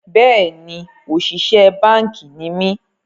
Bẹ́ẹ̀ni, òṣìṣẹ́ báànkì ni mí